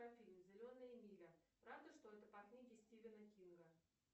афина зеленая миля правда что это по книге стивена кинга